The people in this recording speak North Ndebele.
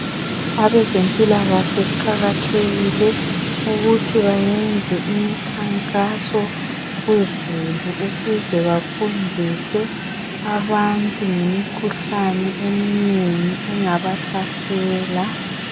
Abezempilakahle kuqakathekile ukuthi bayenze imikhankaso kuzulu ukuze bafundise abantu ngemikhuhlane eminengi engabahlasela.